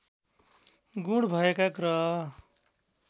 गुण भएका ग्रह